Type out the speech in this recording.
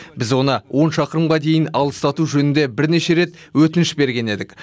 біз оны он шақырымға дейін алыстату жөнінде бірнеше рет өтініш берген едік